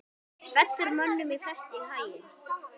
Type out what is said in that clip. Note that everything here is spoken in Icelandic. fellur mönnum flest í haginn